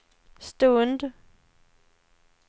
stund